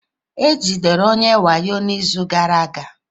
E jidere onye wayo n'izu gara aga?